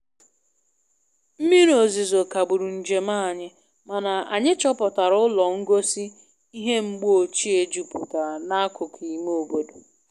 Mmiri ozizo kagburu njem anyị, mana anyị chọpụatra ụlọ ngosi ihe mgbeochie juputara n`akụkọ ime obodo